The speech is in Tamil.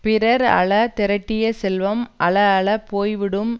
பிறர் அழ திரட்டிய செல்வம் அழ அழப் போய் விடும்